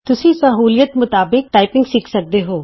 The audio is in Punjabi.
ਤੁਸੀਂ ਆਪਣੀ ਸਹੂਲਿਅਤ ਮੁਤਾਵਕ ਟਾਈਪਿੰਗ ਸਿਖ ਸਕਦੇ ਹੋ